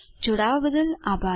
જોડાવા બદ્દલ આભાર